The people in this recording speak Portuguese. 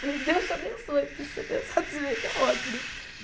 Falei, Deus te abençoe, porque se você pensar desse jeito, é ótimo, né?